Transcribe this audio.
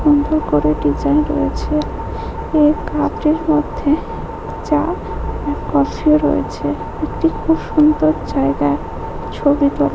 খুব সুন্দর করে ডিজাইন রয়েছে এই কাপটির মধ্যে চা ও কফিও রয়েছে একটি খুব সুন্দর জায়গা ছবি--